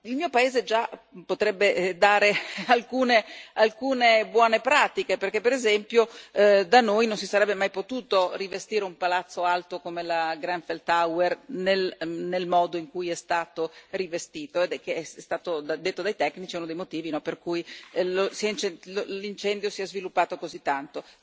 Il mio paese già potrebbe dare alcune buone pratiche perché, per esempio, da noi non si sarebbe mai potuto rivestire un palazzo alto come la Grenfell Tower nel modo in cui è stato rivestito, il che, è stato detto dai tecnici, è uno dei motivi per cui l'incendio si è sviluppato così tanto.